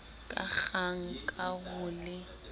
ka kgang ka ho le